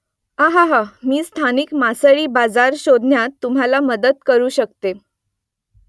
अहाहा मी स्थानिक मासळी बाजार शोधण्यात तुम्हाला मदत करू शकतो